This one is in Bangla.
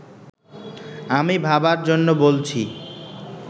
আমি ভাবার জন্য বলছি